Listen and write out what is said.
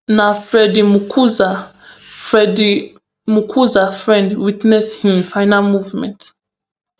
na freddy mukuza freddy mukuza friend witness im final moment